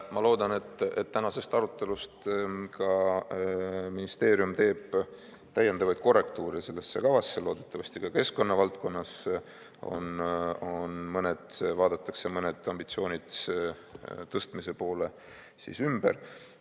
Ma loodan, et tänasest arutelust ka ministeerium teeb täiendavaid korrektuure sellesse kavasse, loodetavasti ka keskkonnavaldkonnas vaadatakse mõned ambitsioonid tõstmise poole ümber.